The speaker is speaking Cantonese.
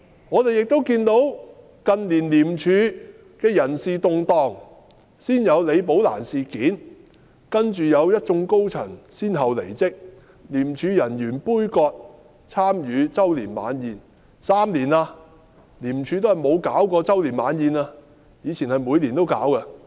我們亦看到近年香港廉政公署的人事動盪，先有李寶蘭事件，繼而一眾高層先後離職，由於廉署人員的杯葛，廉署的周年晚宴已停辦了3年，以前是每年都舉辦的。